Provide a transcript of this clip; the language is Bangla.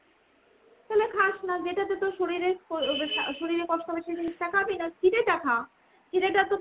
তালে খাস না। যেটাতে তোর শরীরে~শরীরে কষ্ট হবে সেই জিনিসটা খাবি না। চিড়ে টা খা। চিড়েটা তোর